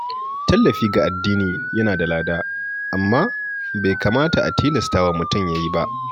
Tallafi ga addini yana da lada, amma bai kamata a tilasta wa mutum yi ba.